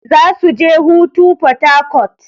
Zasu je hutu a porharcourt.